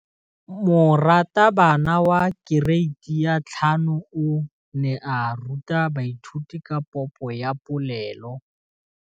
Moratabana wa kereiti ya 5 o ne a ruta baithuti ka popô ya polelô.